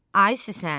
Ay Süsən!